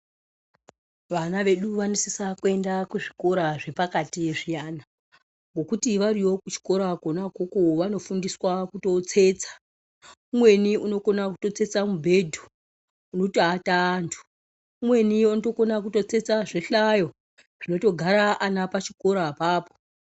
Vana vedu vanosisa kuenda kuzvikora zvepakati zviyana. Ngokuti variyo kuzvikora kona ikoko vanofundiswa kutotsetsa umweni unokona kutotsetsa mubhedha unotoata antu umweni unokona kutotsetsa zvihlayo zvinotogara ana pachikora apapo .